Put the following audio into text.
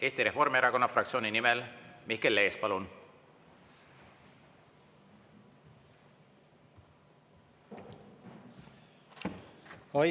Eesti Reformierakonna fraktsiooni nimel Mihkel Lees, palun!